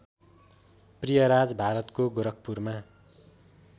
प्रियराज भारतको गोरखपुरमा